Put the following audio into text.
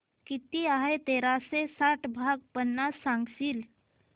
किती आहे तेराशे साठ भाग पन्नास सांगशील